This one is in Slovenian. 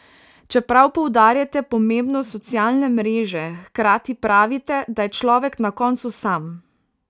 Čeprav poudarjate pomembnost socialne mreže, hkrati pravite, da je človek na koncu sam.